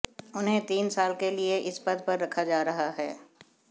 उन्हें तीन साल के लिएइस पद पर रखा जा रहा है